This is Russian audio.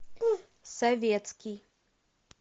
советский